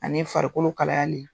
Ani farikolo kalayali